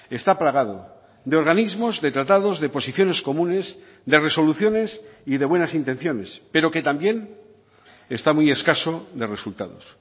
está plagado de organismos de tratados de posiciones comunes de resoluciones y de buenas intenciones pero que también está muy escaso de resultados